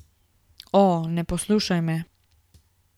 O, ne poslušaj me.